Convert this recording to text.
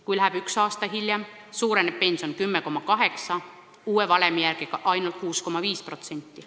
Kui ta läheb pensionile üks aasta hiljem, siis suureneb pension 10,8%, uue valemi järgi ainult 6,5%.